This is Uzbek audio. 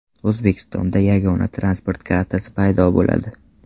O‘zbekistonda yagona transport kartasi paydo bo‘ladi.